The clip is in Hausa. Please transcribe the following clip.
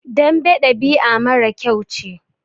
Dambe ɗabi'a mara kyau ce.